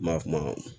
Ma kuma